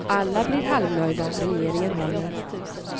Alla blir halvnöjda, regeringen håller.